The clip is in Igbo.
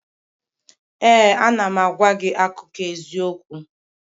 Ee, a na m agwa gị akụkọ eziokwu